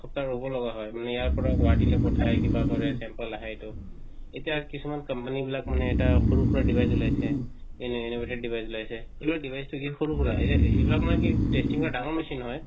ৰৱ লগা হয় মানে ইয়াৰ পৰা গুৱাহাটী লৈ পঠিৱায় কিবা কৰে temper লাহে এটো এতিয়া কিছুমান company বিলাক মানে সৰুৰ খুৰা device উলায়ছে এনে device উলাইছে device টো কি সৰু খুৰাক এই বিলাক মই কি testing ৰ ডঙৰ machine